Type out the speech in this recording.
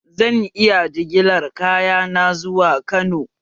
Zan iya jigilar kayana zuwa Kano?